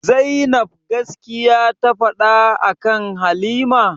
Zainab gaskiya ta faɗa akan halima?